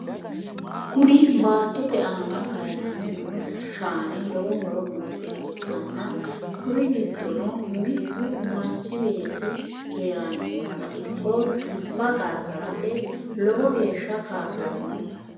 Kuni baattote aana kayisame noo shaani lowo horo noosiha ikkanna kuri giddono mittu manchi beetti keeranchimara ikko xibba gargarate lowo geeshsa ka'lanno.